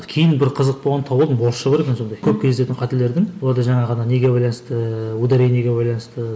кейін бір қызық болғанда тауып алдым орысша бар екен сондай көп кездесетін қателердің оларда жаңағы ана неге байланысты ударениеге байланысты